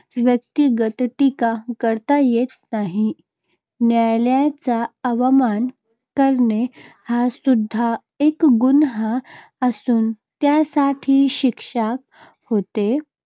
व्यक्तिगत टीका करता येत नाही. न्यायालयाचा अवमान करणे, हा सुद्धा एक गुन्हा असून त्यासाठी शिक्षा होते.